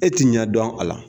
E t'i ɲɛ dɔn a la.